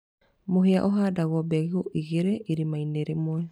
Mũhĩa ũhandagwo mbegu igĩrĩ irima-inĩ rĩmwe.